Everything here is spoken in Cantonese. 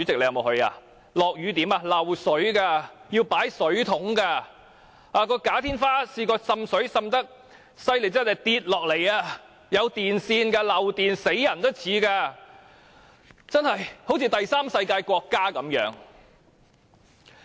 那裏下雨時會漏水的，要擺放水桶裝水，"假天花"曾經因滲水太嚴重而塌下，內裏藏有電線，是會危害人命的，那裏就像第三世界國家一樣。